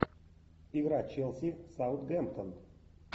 игра челси саутгемптон